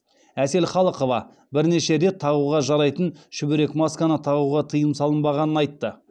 әсел халықова бірнеше рет тағуға жарайтын шүберек масканы тағуға тыйым салынбағанын айтты